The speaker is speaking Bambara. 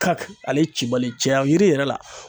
Kaki ale ye cibali ye cɛya yiri yɛrɛ la.